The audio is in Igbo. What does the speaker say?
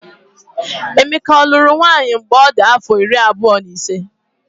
Emeka ọ lụrụ nwaanyị mgbe ọ dị afọ iri abụọ na ise?